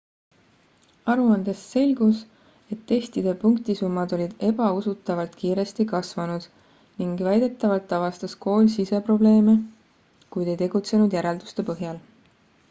aruandest selgus et testide punktisummad olid ebausutavalt kiiresti kasvanud ning väidetavalt avastas kool siseprobleeme kuid ei tegutsenud järelduste põhjal